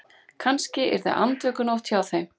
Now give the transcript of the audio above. Kannski yrði andvökunótt hjá þeim.